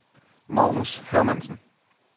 Magnus Hermansen